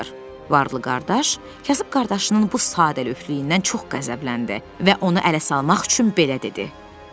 Varlı qardaş kasıb qardaşının bu sadəlövlüyündən çox qəzəbləndi və onu ələ salmaq üçün belə dedi.